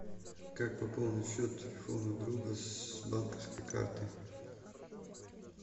как пополнить счет телефона друга с банковской карты